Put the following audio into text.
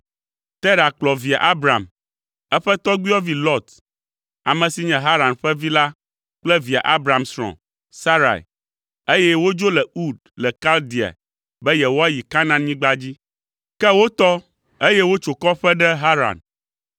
Tera kplɔ via Abram, eƒe tɔgbuiyɔvi Lot, ame si nye Haran ƒe vi la kple via Abram srɔ̃, Sarai, eye wodzo le Ur le Kaldea be yewoayi Kanaanyigba dzi. Ke wotɔ, eye wotso kɔƒe ɖe Haran.